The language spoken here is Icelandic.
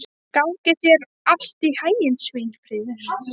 Gangi þér allt í haginn, Sveinfríður.